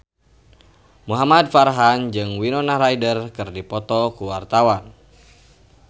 Muhamad Farhan jeung Winona Ryder keur dipoto ku wartawan